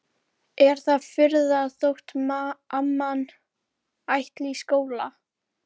Er það furða þótt amman ætli í skóla?